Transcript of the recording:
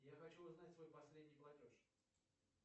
я хочу узнать свой последний платеж